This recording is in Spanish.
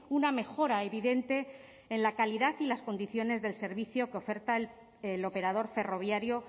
una mejora evidente en la calidad y las condiciones del servicio que oferta el operador ferroviario